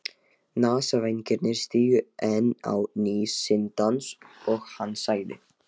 Nasavængirnir stigu enn á ný sinn dans og hann sagði